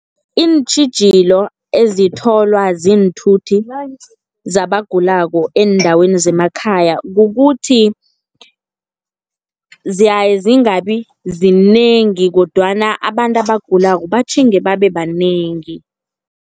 Iintjhijilo ezitholwa ziinthuthi zabagulako eendaweni zemakhaya, kukuthi ziyaye zingabi zinengi, kodwana abantu abagulako batjhinge babe banengi.